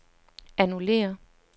annullér